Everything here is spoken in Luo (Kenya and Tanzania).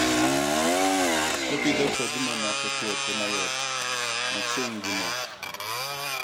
wee pidho kodhi mamako twuoche mayote machiegni gi moko.